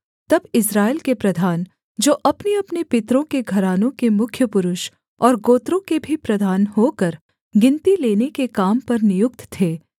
तब इस्राएल के प्रधान जो अपनेअपने पितरों के घरानों के मुख्य पुरुष और गोत्रों के भी प्रधान होकर गिनती लेने के काम पर नियुक्त थे